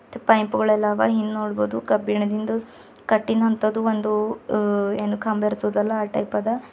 ಪೈಂಪ್ ಗಳೆಲ್ಲ ಹವಾ ಇಂದ ನೋಡಬಹುದು ಕಬ್ಬಿಣದಿಂದ ಕಟ್ಟಿನದ್ ಅಂತದು ಏನ್ ಕಂಬ ಇರ್ತದಲ್ಲ ಆ ಟೈಪ್ ಆದ.